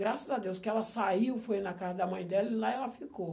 Graças a Deus que ela saiu, foi na casa da mãe dela e lá ela ficou.